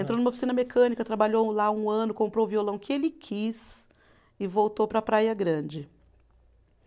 Entrou numa oficina mecânica, trabalhou lá um ano, comprou o violão que ele quis e voltou para Praia Grande.